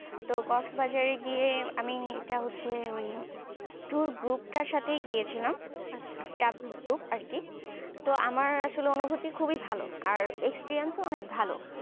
তো cockeses বাজারে গিয়ে আমি এটা হচ্ছে ওই tour group তার সাথেই গিয়েছিলাম group আর কি তো আমার আসলে অনুভূতি খুবই ভালো আর experience ও অনেক ভালো